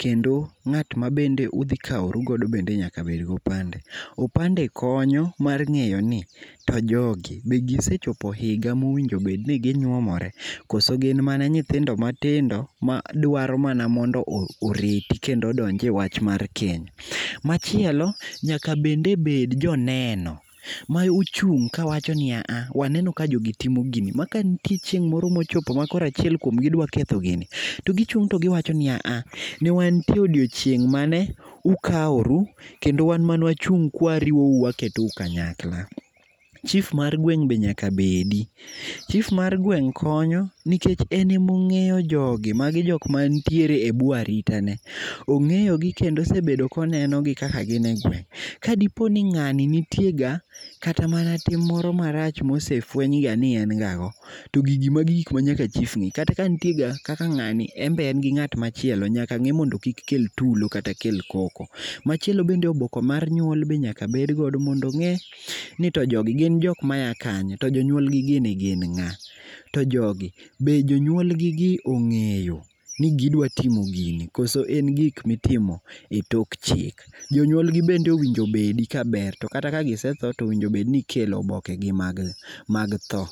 kendo ngat mabende udhi kawru godo nyaka bed gi opande, opande konyo mar ngeyo ni to jogi, gisepchopo higa mowinjo bed ni ginyuomore koso gin mana nyithindo matindo madwaro mana mondo oreti kendo odonje wach mar keny. Machielo nyaka bende bed joneno ma ochung ka wachoni aha, waneno ka jogi timo gini makantie chieng moro mochopo ka koro achiel kuom gi dwa ketho gini to gichung to giwachoni aaha, ne wantie odiochieng mane ukawru kendo wan mane wachung kwa wariwou waketou kanyakla. Chief mar gweng be nyaka bedi, chief mar gweng konyo nikech en ema ongeyo jogi, magi joma nitie buo arita ne. Ongeyo gi kendo osebedo koneno gi kaka gin e gweng. Kadiponi ngani nitie ga kata mana tim moro marach mosefweny ga ni en ga go, to gigi magi gik manyaka chief nge, kata ka nitie ga kaka ngani en be en ga gi ngat machielo nyaka nge ga mondo kik kel tulo, kik kel koko. Machielo bende oboke mar nyuol be nyaka bed go mondo nge to jo jogi gin jok maya kanye to jonyuol gi gin nga, to jogi, be jonyuol gi be ongeyo ni gidwa timo gini koso en gik mitimo e tok chik. Jonyuol gi bende owinjo obedi kaber to kata ka gisetho towinjo obed ni ikelo oboke gi mag tho